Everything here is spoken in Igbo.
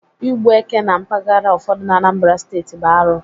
Ịgbu éke na mpaghara ụfọdụ na Anambra Steeti bụ arụ